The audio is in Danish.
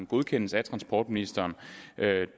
godkendes af transportministeren